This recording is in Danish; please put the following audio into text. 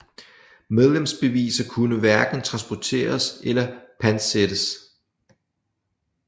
Medlemsbeviser kunne hverken transporteres eller pantsættes